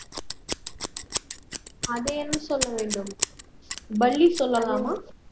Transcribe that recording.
அதை என்ன சொல்ல வேண்டும் பல்லி சொல்லலாமா